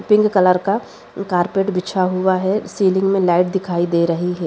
Pink colour का carpet बिछा हुआ है सीलिंग में लाइट दिखाई दे रही है।